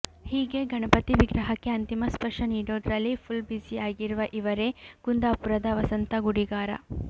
ಹೀಗೆ ಗಣಪತಿ ವಿಗ್ರಹಕ್ಕೆ ಅಂತಿಮ ಸ್ಪರ್ಶ ನೀಡೋದ್ರಲ್ಲಿ ಫುಲ್ ಬ್ಯುಸಿಯಾಗಿರುವ ಇವರೇ ಕುಂದಾಪುರದ ವಸಂತ ಗುಡಿಗಾರ